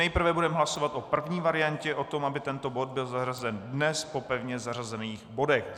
Nejprve budeme hlasovat o první variantě, o tom, aby tento bod byl zařazen dnes po pevně zařazených bodech.